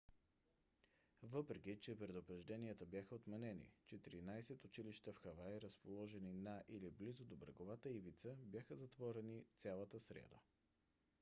въпреки че предупрежденията бяха отменени четиринадесет училища в хавай разположени на или близо до бреговата ивица бяха затворени цялата сряда